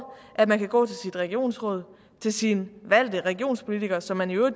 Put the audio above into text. at man kan gå til sit regionsråd til sin valgte regionspolitiker som man jo i